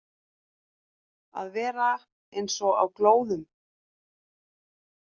Að vera eins og á glóðum